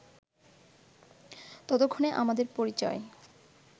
ততক্ষণে আমাদের পরিচয়